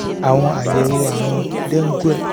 àwọn àyẹ̀wò àrùn dengue